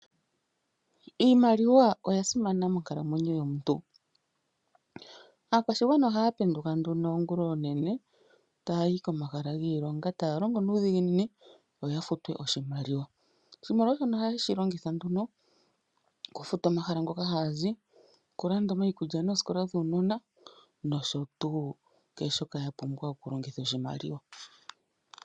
Iimaliwa oya simana monkalamwenyo yomuntu. Aakwashigwana ohaa penduka nduno oongula oonene taa yi komahala giilonga, taya longo nuudhiginini yo ya futwe oshimaliwa. Oshimaliwa shono ohaye shi longitha nduno okufuta omahala moka haa zi, okulanda omaikulya nooskola dhuunona, nosho tuu kehe shoka ya pumbwa okulongitha oshimaliwa.